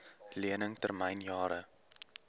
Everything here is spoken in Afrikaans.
lening termyn jare